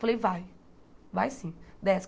Falei, vai, vai sim, desce.